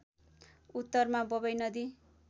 उत्तरमा बबई नदी